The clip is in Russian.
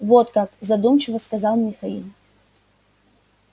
вот как задумчиво сказал михаил